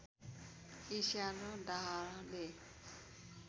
ईर्ष्या र डाहले